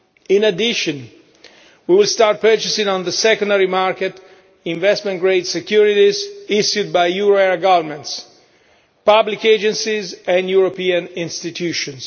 In addition, we will start purchasing on the secondary market investment grade securities issued by euro area governments, public agencies and European institutions.